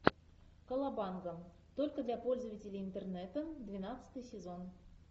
колобанга только для пользователей интернета двенадцатый сезон